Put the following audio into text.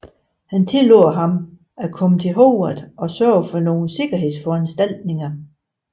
Han tillod ham at komme til Hogwarts og sørgede for nogle sikkerhedsforanstaltninger